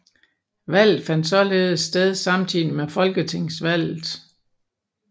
Valget fandt således sted samtidig med Folketingsvalget